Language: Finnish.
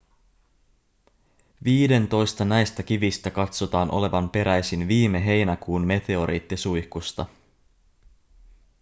viidentoista näistä kivistä katsotaan olevan peräisin viime heinäkuun meteoriittisuihkusta